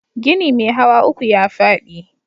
Gini mai hawa uku ya faɗi